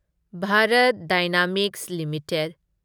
Bharat dynamics limited